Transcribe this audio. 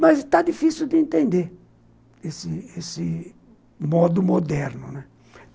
Mas está difícil de entender esse esse esse modo moderno, né?